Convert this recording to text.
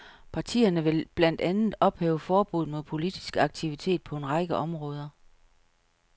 Partierne vil blandt andet ophæve forbuddet mod politisk aktivitet på en række områder.